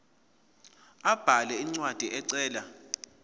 abhale incwadi ecela